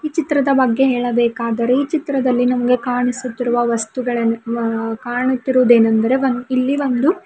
ಈ ಚಿತ್ರದ ಬಗ್ಗೆ ಹೇಳಬೇಕಾದರೆ ಈ ಚಿತ್ರದಲ್ಲಿ ನಮಗೆ ಕಾಣಿಸುತ್ತಿರುವ ವಸ್ತುಗಳನ್ನು ಮ ಕಾಣುತ್ತಿರುವುದೇನಂದರೆ ಇಲ್ಲಿ ಒಂದು.